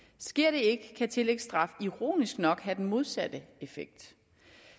sker det ikke kan tillægsstraf ironisk nok have den modsatte effekt